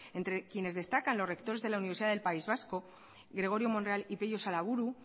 entre quienes destacan los rectores de la universidad del país vasco gregorio monreal y pello salaburu